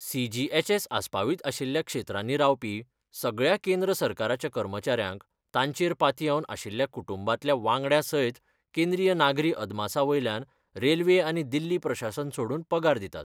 CGHS. आस्पावीत आशिल्ल्या क्षेत्रांनी रावपी सगळ्या केंद्र सरकाराच्या कर्मचाऱ्यांक तांचेर पातयेवन आशिल्ल्या कुटुंबांतल्या वांगड्या सयत केंद्रीय नागरी अदमासा वयल्यान रेल्वे आनी दिल्ली प्रशासन सोडून पगार दितात.